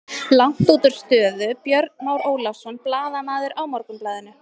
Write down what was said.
Langt útúr stöðu Björn Már Ólafsson, blaðamaður á Morgunblaðinu.